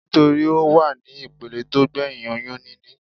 Nítorí Ó wà ní ìpele tó gbẹ̀hìn oyún níní.